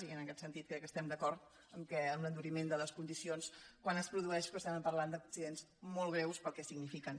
i en aquest sentit crec que estem d’acord en l’enduriment de les condicions quan es produeixen però estàvem parlant d’accidents molt greus pel que signifiquen